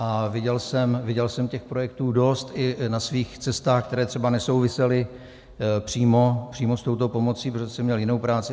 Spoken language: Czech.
A viděl jsem těch projektů dost i na svých cestách, které třeba nesouvisely přímo s touto pomocí, protože jsem měl jinou práci.